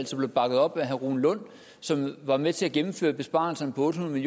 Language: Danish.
som blev bakket op af herre rune lund som var med til at gennemføre besparelserne på otte hundrede